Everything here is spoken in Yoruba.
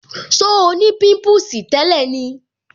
So ni pimpusi tẹ́lẹ̀ ni